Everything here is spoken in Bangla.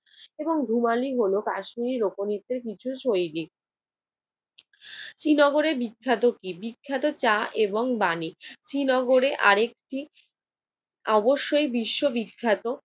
এবং ঘুমালি হল কাশ্মীর লোকনৃত্যের কিছু শৈলী। শ্রীনগরের বিখ্যাত কি? বিখ্যাত চা এবং বাণী। শ্রীনগরে আরেকটি অবশ্যই বিশ্ববিখ্যাত